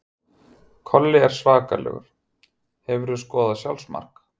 Kolli er svakalegur Hefurðu skorað sjálfsmark?